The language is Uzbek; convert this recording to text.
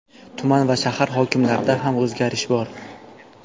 Tuman va shahar hokimlarida ham o‘zgarish bor.